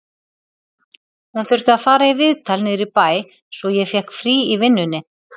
Hún þurfti að fara í viðtal niður í bæ, svo ég fékk frí í vinnunni